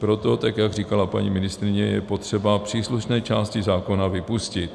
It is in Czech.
Proto, tak jak říkala paní ministryně, je potřeba příslušné části zákona vypustit.